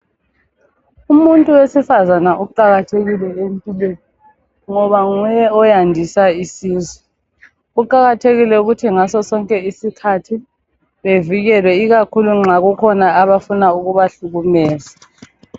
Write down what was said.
Umuntu wesifazana uqakathekile empilweni ngoba nguye oyandisa isizwe kuqathekile ukuthi ngaso sonke isikhathi bevikelwe ikakhulu nxa kukhona abafuna ukubahlukumeza.